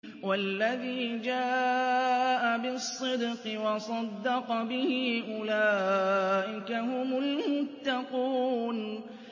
وَالَّذِي جَاءَ بِالصِّدْقِ وَصَدَّقَ بِهِ ۙ أُولَٰئِكَ هُمُ الْمُتَّقُونَ